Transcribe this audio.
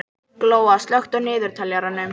Glóa, slökktu á niðurteljaranum.